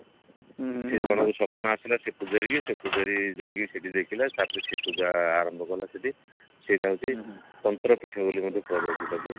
ସେ ବ୍ରାହ୍ମଣ କୁ ସ୍ଵପ୍ନ ଆସିଲା ସେ ପୂଜାରିକି ସେ ପୂଜାରୀ ଯାଇକି ସେଠି ଦେଖିଲା ତାପରେ ସେ ପୂଜା ଆରମ୍ଭ କଲା ସେଠି ସେଟା ହଉଛି ତନ୍ତ୍ର ପୀଠ ବୋଲି ମଧ୍ୟ କୁହାଯାଉଛି ତାକୁ